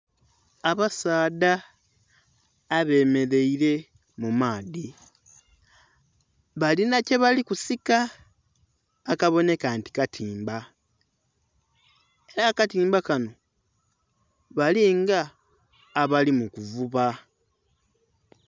Abasaadha abemereire mu maadhi balina kyebali kusika akabonheka nti katimba era akatimba kanho balinga abali mu kuvuba.